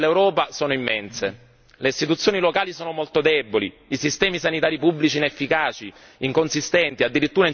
Le istituzioni locali sono molto deboli, i sistemi sanitari pubblici inefficaci, inconsistenti, addirittura in certi casi inesistenti.